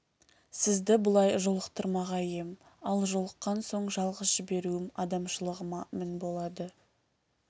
сізді бұлай жолықтырмағай ем ал жолыққан соң жалғыз жіберуім адамшылығыма мін болады